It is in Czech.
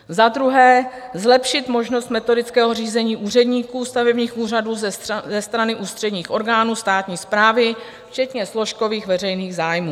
Za druhé zlepšit možnost metodického řízení úředníků stavebních úřadů ze strany ústředních orgánů státní správy včetně složkových veřejných zájmů.